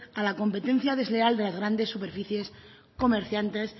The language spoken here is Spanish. a la competencia desleal de las grandes superficies